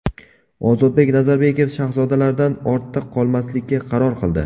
Ozodbek Nazarbekov Shahzodalardan ortda qolmaslikka qaror qildi.